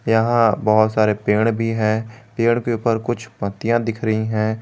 यहां बहुत सारे पेड़ भी है पेड़ के ऊपर कुछ पत्तियां दिख रही हैं।